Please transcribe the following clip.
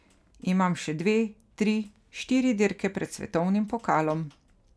Imam še dve, tri, štiri dirke pred svetovnim pokalom.